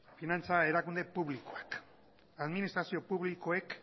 finantza erakunde publikoak administrazio publikoek